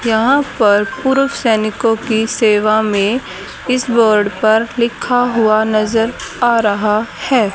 यहां पर पूर्व सैनिकों की सेवा में इस बोर्ड पर लिखा हुआ नजर आ रहा है।